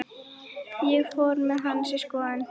Ég fór með hana í skoðun.